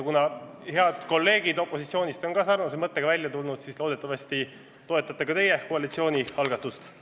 Kuna head kolleegid opositsioonist on ka samasuguse mõttega välja tulnud, siis loodetavasti toetate ka teie koalitsiooni algatust.